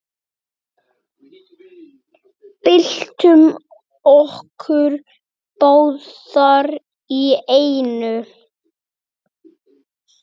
Byltum okkur báðar í einu.